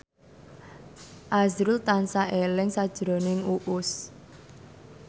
azrul tansah eling sakjroning Uus